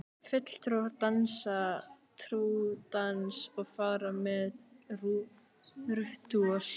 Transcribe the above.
Fulltrúar dansa trúardans og fara með ritúöl.